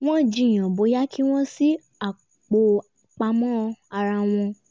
wọ́n jiyàn bóyá kí wọ́n ṣí apò pamọ́ ara wọn